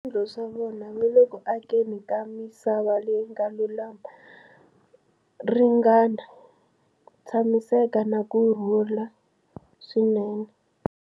Swiendlo swa vona, va le ku akeni ka misava leyi nga lulama, ringana, tshamiseka na ku rhula swinene.